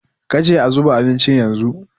ka ce a zuba abincin yanzu?